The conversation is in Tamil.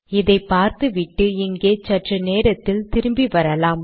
இதை பார்த்துவிட்டு இங்கே சற்று நேரத்தில் திரும்பி வரலாம்